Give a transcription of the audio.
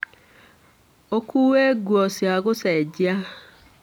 ũkuue nguo cia gũcenjia.